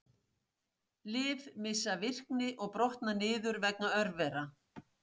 lyf missa virkni og brotna niður vegna örvera